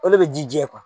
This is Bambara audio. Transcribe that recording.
O de bɛ ji jɛ